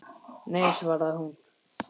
Nei svaraði hún.